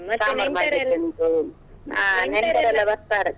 ಬರ್ತಾರೆ.